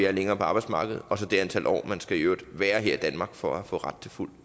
er længere på arbejdsmarkedet og så det antal år man skal være her i danmark for at få ret til fuld